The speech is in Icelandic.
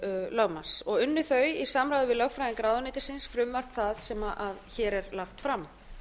lögmanns unnu þau í samræmi við lögfræðinga ráðuneytisins frumvarp það sem hér er lagt fram